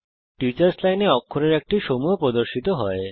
teachers লাইনে অক্ষরের একটি সমূহ প্রদর্শিত হয়